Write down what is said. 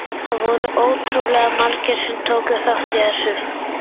Það voru ótrúlega margir sem tóku þátt í þessu.